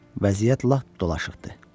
Vəziyyət lap dolaşıqdı.